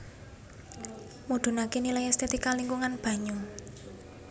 Mudhunaké nilai estetika lingkungan banyu